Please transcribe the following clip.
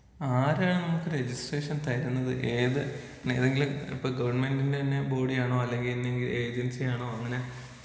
ആരാണ് നമ്മുക്ക് രജിസ്ട്രേഷൻ തരുന്നത്? ഏത് ഏതെങ്കിലും ഇപ്പോ ഗവൺമെന്റിന്‍റെ തന്നെ ബോഡിയാണോ അല്ലെങ്കിൽ ഏതെങ്കിലും ഏജൻസി ആണോ? അങ്ങനെ.